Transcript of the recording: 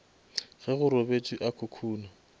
ge go robetšwe a khukhuna